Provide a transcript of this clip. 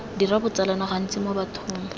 dira botsalano gantsi mo bathong